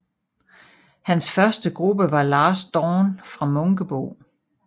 Hans første gruppe var Last Dawn fra Munkebo